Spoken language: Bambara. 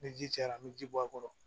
Ni ji cayara an bɛ ji bɔ a kɔrɔ